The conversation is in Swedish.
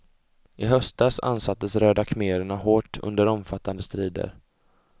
I höstas ansattes röda khmererna hårt under omfattande strider.